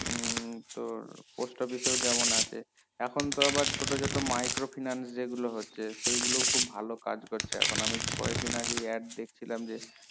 উম তোর post office এ যেমন আছে এখন তো আবার ছোটো ছোটো micro finance যে গুলো হচ্ছে সেই গুলো খুব ভালো কাজ করছে এখন আমি কয়েক দিন আগে add দেখছিলাম যে